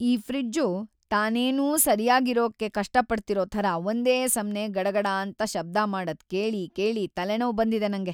ಈ ಫ್ರಿಜ್ಜು ತಾನೇನೋ ಸರ್ಯಾಗಿರೋಕ್‌ ಕಷ್ಟಪಡ್ತಿರೋ ಥರ ಒಂದೇ ಸಮ್ನೇ ಗಡಗಡಾಂತ ಶಬ್ದ ಮಾಡದ್‌ ಕೇಳಿ ಕೇಳಿ ತಲೆನೋವ್‌ ಬಂದಿದೆ ನಂಗೆ.